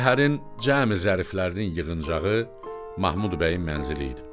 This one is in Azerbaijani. Şəhərin cəmi zəriflərinin yığıncağı Mahmud bəyin mənzili idi.